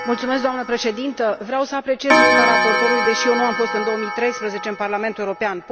Doamnă președintă, vreau să apreciez munca raportorului, deși eu nu am fost în 2013 în Parlamentul European.